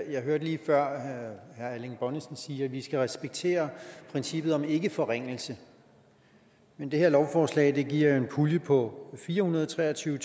jeg hørte lige før herre erling bonnesen sige at vi skal respektere princippet om ikkeforringelse men det her lovforslag giver en pulje på fire hundrede og tre og tyve